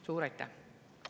Suur aitäh!